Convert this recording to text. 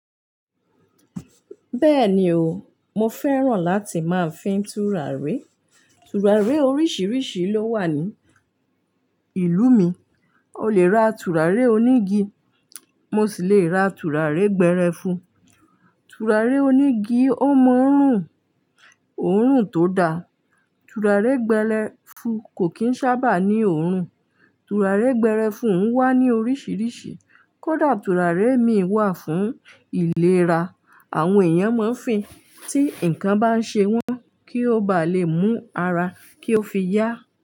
Bẹ́ẹ̀ni o, mo fẹ́ràn láti máa fín tùràrí. Tùràrí oríṣìíríṣìí ló wà ní ìlú mi. O lè ra tùràrí onígi, mo sì le ra tùràrí gbẹ́rẹ́fu. Tùràrí onígi ó mọ n rùn, òórùn tó da. Tùràrí gbẹ́lẹ́fu kò kíi ń sábà ní òórùn. Tùràrí gbẹ́rẹ́fu o ń wá ní oríṣìíríṣìí. Kódà tùràrí imi wà fún ìlera, àwọn èèyàn máa ń fín tí nǹkan bá ń ṣe wọ́n kí ó bá le mú ara kí ó fi yá.